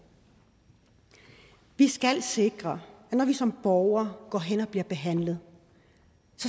vi skal sikre at når vi som borgere går hen og bliver behandlet